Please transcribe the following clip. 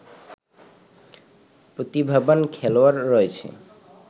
প্রতিভাবান খেলোয়াড় রয়েছে